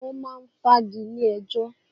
Wọ́n máa ń fagilé ẹjọ́.